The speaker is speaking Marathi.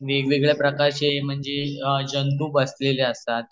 वेगवेगळे प्रकारचे म्हणजे जंतू बसलेले असतात